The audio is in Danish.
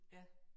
Ja